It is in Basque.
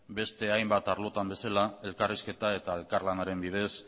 beste hainbat arlotan bezala elkarrizketa eta elkarlanaren bidez